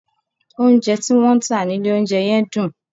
Oúnjẹ tí wọ́n ń tà nílé oúnjẹ yẹn dùn.